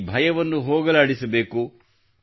ಈ ಭಯವನ್ನು ಹೋಗಲಾಡಿಸಬೇಕು